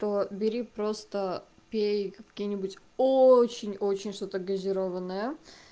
то бери просто пей какие-нибудь очень-очень что-то газированное